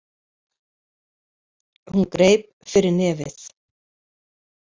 Hún greip fyrir nefið.